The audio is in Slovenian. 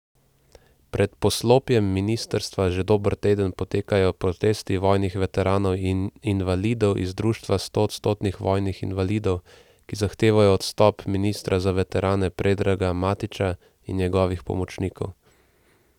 Pred poslopjem ministrstva že dober teden potekajo protesti vojnih veteranov in invalidov iz društva stoodstotnih vojnih invalidov, ki zahtevajo odstop ministra za veterane Predraga Matića in njegovih pomočnikov.